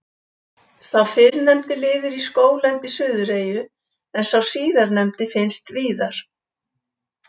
Sá fyrrnefndi lifir í skóglendi Suðureyju en sá síðarnefndi finnst víðar.